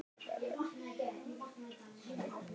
Svona getur lífið verið snúið.